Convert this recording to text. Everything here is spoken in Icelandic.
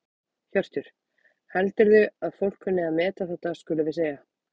Hjörtur: Heldurðu að fólk kunni að meta þetta skulum við segja?